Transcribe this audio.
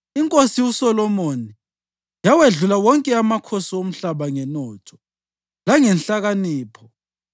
INkosi uSolomoni yawedlula wonke amakhosi omhlaba ngenotho langenhlakanipho.